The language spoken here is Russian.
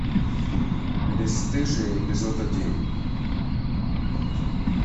бесстыжие эпизод один